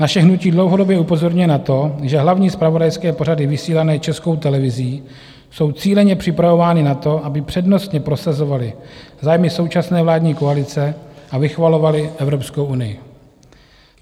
Naše hnutí dlouhodobě upozorňuje na to, že hlavní zpravodajské pořady vysílané Českou televizí jsou cíleně připravovány na to, aby přednostně prosazovaly zájmy současné vládní koalice a vychvalovaly Evropskou unii.